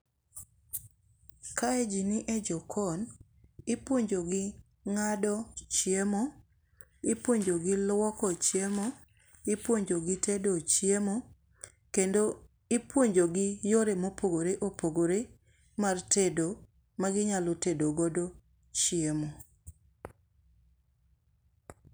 Kae ji ni e jokon. Ipuonjo gi ng'ado chiemo, ipuonjo gi luoko chiemo, ipuonjo gi tedo chiemo, kendo ipuonjo gi yore mopogore opogore mag tedo maginyalo tedo godo chiemo.